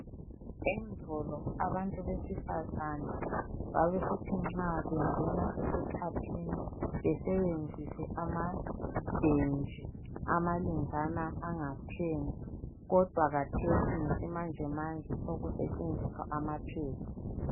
Endulo abantu besifazana babesithi nxa bengena esikhathini besebenzise amalenjana angatheni kodwa khathesi ngesimanjemanje sekusetshenziswa ama pads.